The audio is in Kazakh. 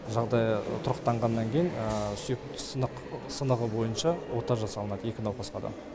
жағдайы тұрақтанғаннан кейін сүйек сынығы бойынша ота жасалынады екі науқасқа да